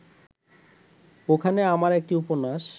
ওখানে আমার একটি উপন্যাস